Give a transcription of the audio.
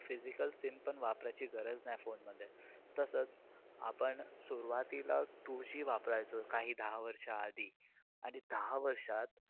Physical SIM पण वापरायची गरज नाही phone मध्ये. तसेच आपण सुरुवातीला two G वापरायचो काही दहा वर्ष आधी. आणि दहा वर्षात